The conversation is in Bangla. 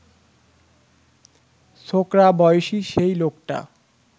ছোকরা বয়সী সেই লোকটা